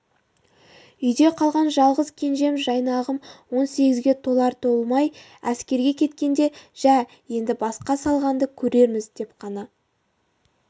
үйде қалған жалғыз кенжем жайнағым он сегізге толар толмай әскерге кеткенде жә енді басқа салғанды көрерміз деп қана